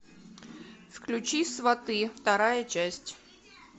включи сваты вторая часть